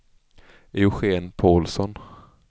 Eugén Paulsson